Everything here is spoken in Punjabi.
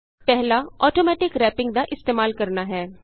ਪਹਿਲਾ ਆਟੋਮੈਟਿਕ ਰੈਪਿੰਗ ਦਾ ਇਸਤੇਮਾਲ ਕਰਨਾ ਹੈ